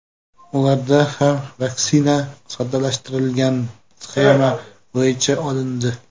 Ularda ham vaksina soddalashtirilgan sxema bo‘yicha olindi.